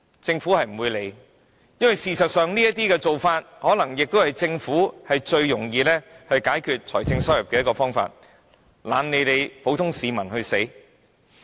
政府不會理會這些情況，因為事實上，這可能是政府最易收取財政收入的方法，懶理普通市民的死活。